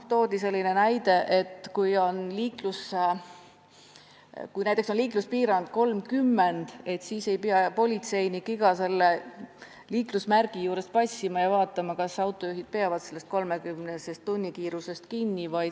Toodi selline näide, et kui näiteks on liikluspiirang 30 km/h, siis ei pea politseinik iga sellise liiklusmärgi juures passima ja vaatama, kas autojuhid peavad piirkiirusest kinni.